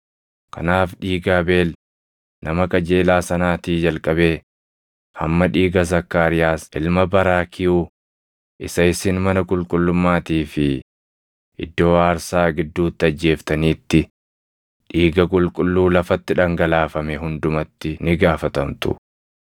Kanaaf dhiiga Abeel nama qajeelaa sanaatii jalqabee hamma dhiiga Zakkaariyaas ilma Baraakiyuu isa isin mana qulqullummaatii fi iddoo aarsaa gidduutti ajjeeftaniitti, dhiiga qulqulluu lafatti dhangalaafame hundumatti ni gaafatamtu.